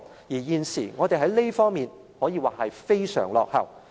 現時，我們在這方面可以算是非常落後。